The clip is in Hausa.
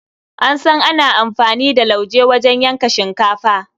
An san ana amfani da lauje wajen yanke shinkafa.